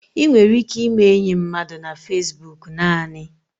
Ị nwere ike ime enyi mmadụ na Fesbok naanị.